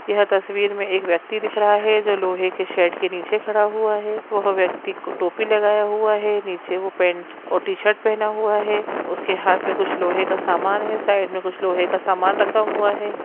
यह तस्वीर में एक व्यक्ति दिख रहा है जो लोहे के शेड के नीचे खड़ा हुआ है वो व्यक्ति टोपी लगाया हुआ है नीचे वो पैंट और टी शर्ट पहना हुआ है उसके हाथ में कुछ लोहे का समान है साइड में कुछ लोहे का समान रखा हुआ है।